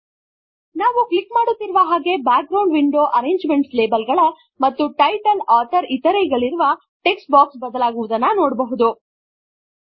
ನಾವು ಕ್ಲಿಕ್ ಮಾಡುತ್ತಿರುವ ಹಾಗೆ background window arrangement label ಗಳ ಮತ್ತು ಟೈಟಲ್ ಆಥರ್ ಇತರೆ ಗಳಿರುವ ಟೆಕ್ಸ್ಟ್ ಬಾಕ್ಸ್ ಬದಲಾಗುವುದನ್ನು ನೋಡುವೆವು